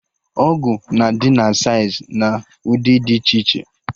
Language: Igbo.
Ọgụ na adị na saịz na ụdị dị iche iche